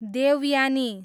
Devyani